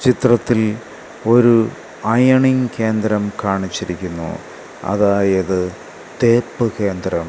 ചിത്രത്തിൽ ഒരു അയണിംഗ് കേന്ദ്രം കാണിച്ചിരിക്കുന്നു അതായത് തേപ്പ് കേന്ദ്രം.